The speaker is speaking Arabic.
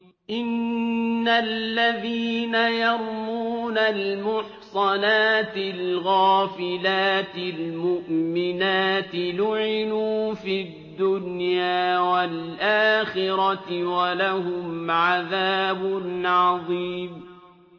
إِنَّ الَّذِينَ يَرْمُونَ الْمُحْصَنَاتِ الْغَافِلَاتِ الْمُؤْمِنَاتِ لُعِنُوا فِي الدُّنْيَا وَالْآخِرَةِ وَلَهُمْ عَذَابٌ عَظِيمٌ